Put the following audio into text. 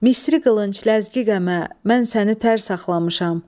Misri qılınc, ləzgi qəmə, mən səni tər saxlamışam.